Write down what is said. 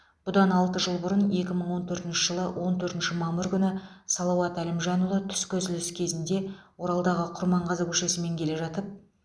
бұдан алты жыл бұрын екі мың он төртінші жылы он төртінші мамыр күні салауат әлімжанұлы түскі үзіліс сәтінде оралдағы құрманғазы көшесімен келе жатып